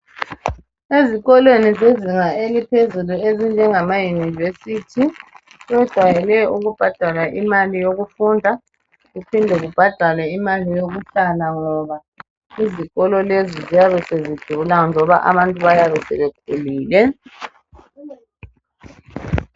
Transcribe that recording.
Ezikolweni zezinga eliphezulu ezinjengama university bajayele ukubhadala imali yokufunda kuphinde kubhadalwe imali yokuhlala ngoba izikolo lezi ziyabe sezidula njoba abantu bayabe sebekhulile